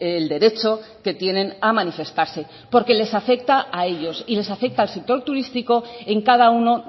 el derecho que tienen a manifestarse porque les afecta a ellos y les afecta al sector turístico en cada uno